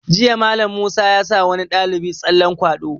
Jiya Mallam Musa ya sa wani ɗalibi tsallen kwaɗo